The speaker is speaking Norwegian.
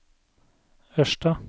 Ørsta